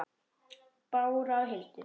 Bára og Hildur.